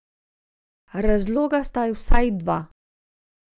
Razloga sta vsaj dva.